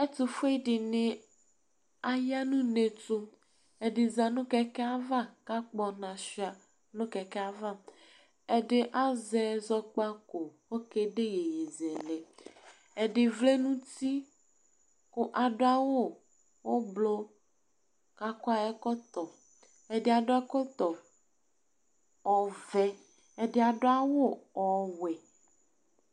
ẽtʊfụɛɗiṅi ɑyɑ ɲụnɛétʊ ɛɗizɑɲụ ƙẽkẽɑvɑ kɑkpõɲɔhụɑ ɲụ kẽkẽɑvɑ ɛɗi ɑzɛzɔgbɑkọ kokɛɗɗé iyéyézẽlẽ ɛɗivlẽɲụti ku ɑɗụɑwũ ωblu kɑkɔɑyɛkọtɔ ɛɗiɑɗọ ɛkọtɔvẽ ɔʋẽ ɛɗiɑɗụɑwụ õwuẽ